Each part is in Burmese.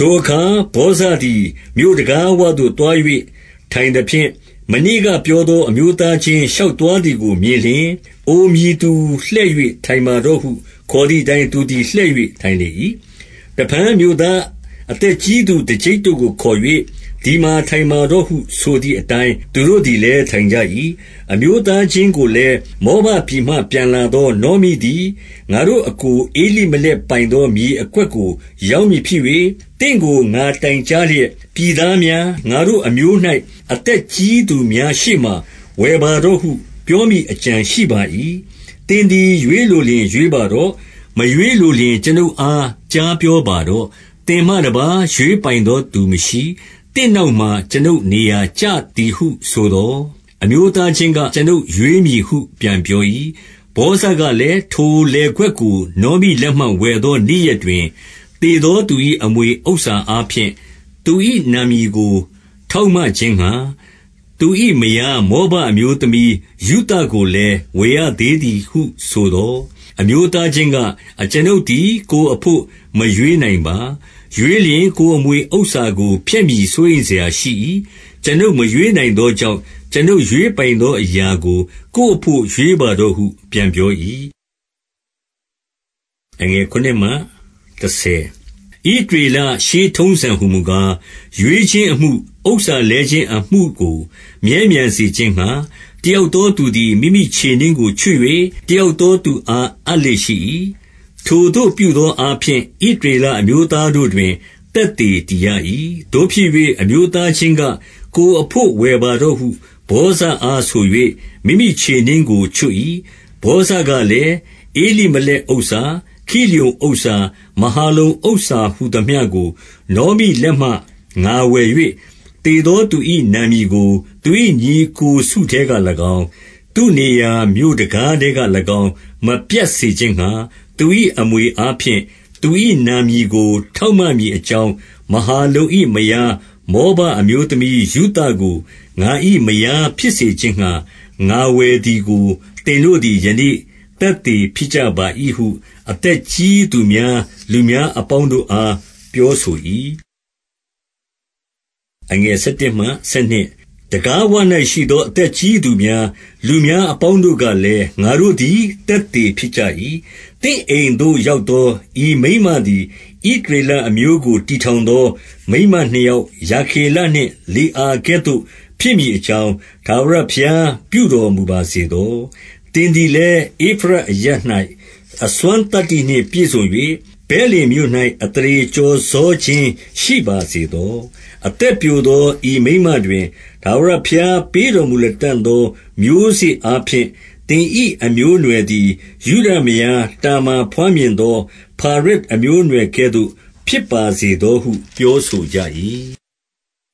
ထိုအခါဗောဇသည်မြို့တံခါးဝသို့ သွား၍ထိုင်သဖြင့်၊ မနေ့ကပြောသော အမျိုးသားချင်းရှောက်သွား သည်ကိုမြင်လျှင်၊ အိုမည်သူလှည့်၍ ထိုင်ပါတော့ဟုခေါ်သည်အတိုင်း သူသည် လှည့်၍ထိုင်လေ၏။ 2 တဖန်မြို့သားအသက်ကြီးသူ တကျိပ်တို့ကိုခေါ်၍၊ သည်မှာထိုင်ပါတော့ဟု ဆိုသည် အတိုင်းသူတို့သည် လည်းထိုင်ကြ၏။ 3 အမျိုးသားချင်းကိုလည်း၊ မောဘပြည်မှပြန်လာသောနောမိသည် ငါတို့အစ်ကို ဧလိမလက်ပိုင်သော မြေ အကွက်ကိုရောင်းမည်ဖြစ်၍၊ 4 သင့်ကိုငါတိုင်ကြားလျက်၊ ပြည်သားများ၊ ငါတို့အမျိုး၌ အသက်ကြီးသူ များရှေ့မှာဝယ်ပါတော့ဟု ပြောမည်အကြံရှိပါ၏။ သင်သည် ရွေးလိုလျှင် ရွေးပါတော့၊ မရွေးလိုလျှင် ကျွန်ုပ် အားကြားပြောပါတော့။ သင်မှ တပါးရွေးပိုင်သောသူမရှိ။ သင့်နောက်မှာ ကျွန်ုပ်နေရာကျသည်ဟုဆိုသော်၊ အမျိုးသားချင်းက၊ ကျွန်ုပ်ရွေးမည်ဟု ပြန်ပြော၏။ 5 ဗောဇကလည်း၊ ထိုလယ်ကွက်ကိုနောမိလက်မှဝယ်သောနေ့ရက်တွင်၊ သေသောသူ၏ အမွေဥစ္စာအားဖြင့် သူ၏နာမည်ကိုထောက်မခြင်းငှါ၊ သူ၏မယားမောဘအမျိုးသမီးရုသကိုလည်း ဝယ်ရသေး သည်ဟု ဆိုသော်၊ 6 အမျိုးသားချင်းက၊ ကျွန်ုပ်သည် ကိုယ်အဘို့မရွေးနိုင်ပါ။ ရွေးလျှင် ကိုယ်အမွေဥစ္စာကိုဖျက်မည် စိုးရိမ်စရာရှိ၏။ ကျွန်ုပ်မရွေးနိုင်သောကြောင့်၊ ကျွန်ုပ်ရွေးပိုင်သောအရာကိုကိုယ်အဘို့ ရွေးပါတော့ဟုပြန်ပြော၏။ 7 ဣသရေလရှေးထုံးစံ ဟူမူကား၊ ရွေးခြင်းအမှု၊ ဥစ္စာလဲခြင်းအမှုကိုမြဲမြံစေခြင်းငှါ တယောက်သောသူသည် မိမိ ခြေနင်းကိုချွတ်၍ တယောက်သောသူအားအပ်လေ့ရှိ၏။ ထိုသို့ပြုသောအားဖြင့် ဣသရေလအမျိုးသားတို့တွင် သက်သေတည်ရ၏။ 8 သို့ဖြစ်၍အမျိုးသားချင်းက၊ ကိုယ်အဘို့ဝယ်ပါတော့ဟု ဗောဇအားဆို၍ မိမိခြေနင်းကိုချွတ်၏။ 9 ဗောဇကလည်း၊ ဧလိမလက်ဥစ္စာ၊ ခိလျုန်ဥစ္စာ၊ မဟာလုန်ဥစ္စာ ဟူသမျှကိုနောမိလက်မှငါဝယ်၍၊ 10 သေသောသူ၏နာမည်ကို သူ၏ညီအစ်ကို စုထဲက၎င်း၊ သူနေရာမြို့တံခါးထဲက၎င်းမပြတ်စေခြင်းငှါ၊ သူ၏အမွေအားဖြင့် သူ၏နာမည်ကို ထောက်မမည် အကြောင်း၊ မဟာလုန်၏ မယားမောဘအမျိုးသမီး ရုသကို ငါ၏မယားဖြစ်စေခြင်းငှါ ငါဝယ်သည်ကိုသင်တို့သည် ယနေ့သက်သေဖြစ်ကြပါ၏ဟု အသက်ကြီးသူများ၊ လူများအပေါင်းတို့အားပြောဆို၏။ 11 တံခါးဝ၌ရှိသောအသက်ကြီးသူများ၊ လူများအပေါင်းတို့ကလည်း၊ ငါတို့သည်သက်သေဖြစ်ကြ၏။ သင့်အိမ်သို့ရောက်သော ဤမိန်းမသည်၊ ဣသရေလအမျိုးကိုတည်ထောင်သောမိန်းမနှစ်ယောက်၊ ရာခေလနှင့် လေအာကဲ့သို့ဖြစ်မည်အကြောင်း ထာဝရဘုရား ပြုတော် မူပါစေသော။ သင်သည်လည်း ဧဖရတ်အရပ်၌ အစွမ်းသတ္တိနှင့်ပြည့်စုံ၍ ဗက်လင်မြို့၌အသရေကျော်စောခြင်းရှိပါစေသော။ 12 အသက်ပျိုသော ဤမိန်းမတွင်၊ ထာဝရဘုရားပေးတော်မူလတံ့သောမျိုးစေ့အားဖြင့်သင်၏ အမျိုးအနွယ် သည် ယုဒမယားတာမာ ဘွားမြင်သော ဖာရက် အမျိုးအနွယ်ကဲ့သို့ ဖြစ်ပါစေသောဟုပြောဆိုကြ၏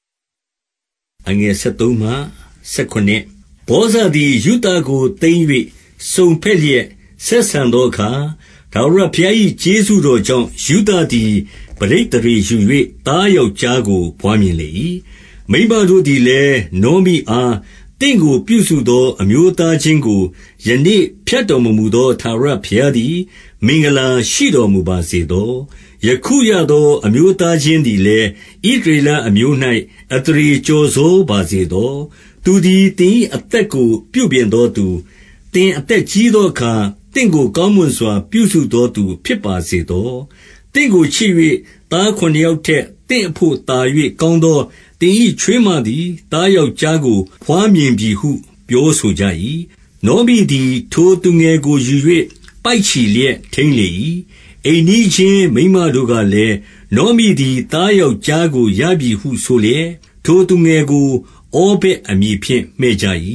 ။ 13 ဗောဇသည် ရုသကိုသိမ်း၍ စုံဘက်လျက်ဆက်ဆံသောအခါ၊ ထာဝရဘုရား၏ ကျေးဇူးတော်ကြောင့်ရုသ သည်ပဋိသန္ဓေယူ၍ သားယောက်ျားကိုဘွားမြင်လေ၏။ 14 မိန်းမတို့သည်လည်း နောမိအား၊ သင့်ကိုပြုစုသော အမျိုးသားချင်းကို ယနေ့ဖြတ်တော်မမူသော ထာဝရဘုရားသည် မင်္ဂလာရှိတော်မူပါစေသော။ ယခုရသော အမျိုးသားချင်းသည်လည်း ဣသရေလအမျိုး၌ အသရေကျော်စောပါစေသော။ 15 သူသည်သင်၏အသက်ကိုပြုပြင်သောသူ၊ သင်အသက်ကြီးသောအခါ သင့်ကိုကောင်းမွန်စွာ ပြုစုသောသူဖြစ်ပါစေသော။ သင့်ကိုချစ်၍ သားခုနစ်ယောက်ထက်သင့်အဘို့ သာ၍ကောင်းသောသင်၏ ချွေးမသည်သားယောက်ျားကိုဘွားမြင်ပြီဟုပြောဆိုကြ၏။ 16 နောမိသည်ထိုသူငယ်ကိုယူ၍ပိုက်ချီလျက်ထိန်းလေ၏။ 17 အိမ်နီးချင်းမိန်းမတို့ကလည်း၊ နောမိသည် သားယောက်ျားကိုရပြီဟုဆိုလျက်၊ ထိုသူငယ်ကိုဩဗက် အမည်ဖြင့်မှည့်ကြ၏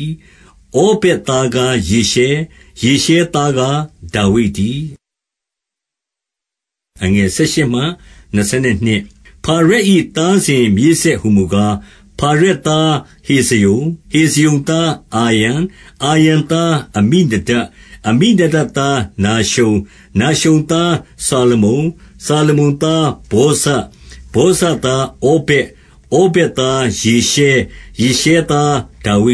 ။ ဩဗက် သားကားယေရှဲ။ ယေရှဲသားကား ဒါဝိဒ်တည်း။ 18 ဖာရက်၏သားစဉ်မြေးဆက်ဟူမူကား၊ ဖာရက်သားဟေဇရုံ၊ 19 ဟေဇရုံသားအာရံ၊ အာရံသား အမိနဒပ်၊ 20 အမိနဒပ်သားနာရှုန်၊ နာရှုန်သား စာလမုန်၊ 21 စာလမုန်သားဗောဇ၊ ဗောဇသားဩဗက်၊ 22 ဩဗက်သားယေရှဲ၊ ယေရှဲသားဒါဝိ